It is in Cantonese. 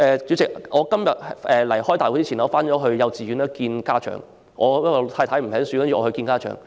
主席，我今天出席會議前曾到幼稚園見老師，因為我太太沒空，所以由我出席。